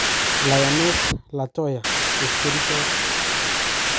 Lioness Latoya:Chepkerichot